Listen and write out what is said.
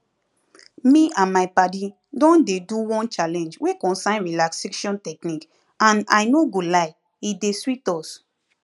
me and my padi don dey do one challenge wey concern relaxation technique and i no go lie e dey sweet us